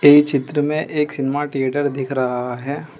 ई चित्र में एक सिनेमा थिएटर दिख रहा है।